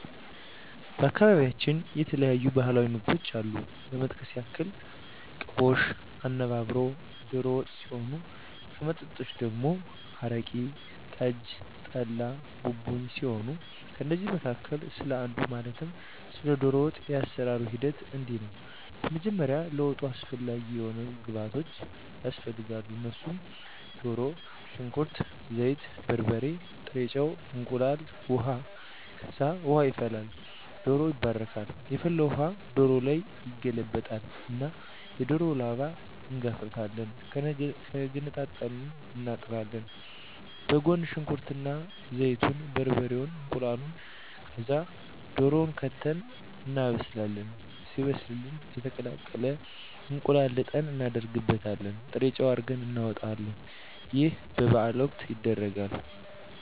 በአካባቢያቸው የተለያዩ ባህላዊ ምግቦች አሉ ለመጥቀስ ያክል ቅቦሽ፣ አነባበሮ፣ ዶሮ ወጥ ሲሆን ከመጠጦች ደግሞ አረቂ፣ ጠጅ፣ ጠላ፣ ቡቡኝ ሲሆኑ ከእነዚህ መካከል ስለ አንዱ ማለትም ስለ ዶሮ ወጥ የአሰራሩ ሂደት እንዲህ ነው በመጀመሪያ ለወጡ አስፈላጊ የሆኑ ግብዓቶች ያስፈልጋሉ እነሱም ድሮ፣ ሽንኩርት፣ ዘይት፣ በርበሬ፣ ጥሬ ጨው፣ እንቁላል፣ ውሀ፣ ከዛ ውሃ ይፈላል ዶሮው ይባረካል የፈላውን ውሀ ዶሮው ላይ ይገለበጣል እና የዶሮውን ላባ እንጋፍፋለን ገነጣጥለን እናጥባለን በጎን ሽንኩርት እና ዘይቱን፣ በርበሬውን እናቁላላለን ከዛ ድሮውን ከተን እናበስላለን ሲበስልልን የተቀቀለ እንቁላል ልጠን እናረግበታለን ጥሬጨው አርገን እናወጣለን ይህ በበዓል ወቅት ይደረጋል።